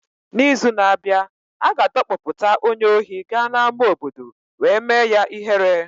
N’izu na-abịa, a ga-adọkpụpụta onye ohi gaa n'ama obodo wee mee ya ihere.